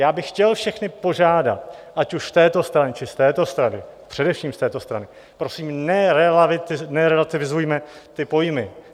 Já bych chtěl všechny požádat, ať už z této strany, či z této strany, především z této strany , prosím, nerelativizujme ty pojmy.